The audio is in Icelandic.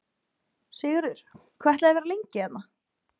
Sigurður: Hvað ætlið þið að vera lengi hérna?